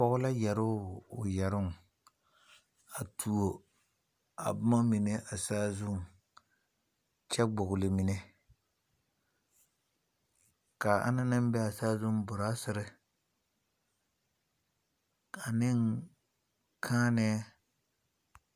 Pɔgɔ la yɛre o yɛroŋ. A tuo a boma mene a saazu kyɛ gbogle mene. Ka a ana naŋ be a saazu, brasere, ane kaãnɛ